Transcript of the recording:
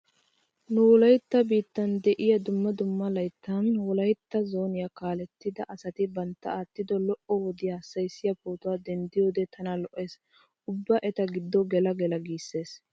Nu wolaytta biittan de'iya dumma dumma layttan wolaytta zooniya kaalettida asati bantta aattido lo''o wodiya hassayissiya pootuwa denddiiyode tana lo'ees. Ubba eta giddo gela gela giissees.